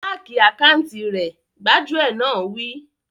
Háki àkáùntì rẹ̀! Gbájúẹ̀ náà wí